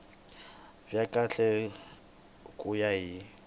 bya kahle ku ya hi